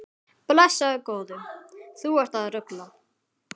Blessaður góði, þú ert að rugla!